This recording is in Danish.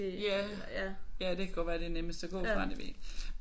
Ja ja det kan godt være det er nemmest at gå fra det jeg ved ikke